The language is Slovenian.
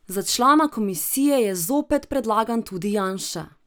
Za člana komisije je zopet predlagan tudi Janša.